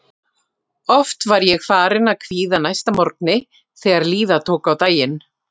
Annar fylgifiskur angistarinnar er eyðslan.